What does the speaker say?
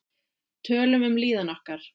Tölum um líðan okkar.